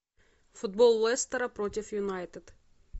футбол лестера против юнайтед